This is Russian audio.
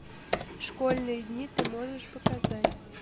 школьные дни ты можешь показать